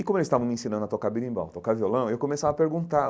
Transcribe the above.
E como eles estavam me ensinando a tocar berimbau, tocar violão, eu começava a perguntar,